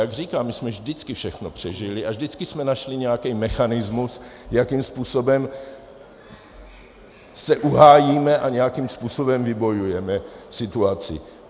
Jak říkám, my jsme vždycky všechno přežili a vždycky jsme našli nějaký mechanismus, jakým způsobem se uhájíme a nějakým způsobem vybojujeme situaci.